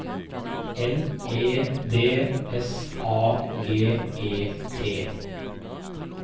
L E D S A G E T